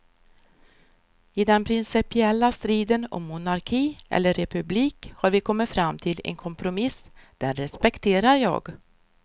I den principiella striden om monarki eller republik har vi kommit fram till en kompromiss, den respekterar jag.